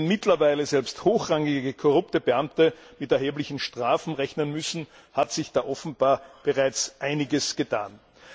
Wenn mittlerweile selbst hochrangige korrupte Beamte mit erheblichen Strafen rechnen müssen, hat sich da offenbar bereits einiges getan.